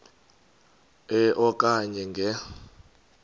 e okanye nge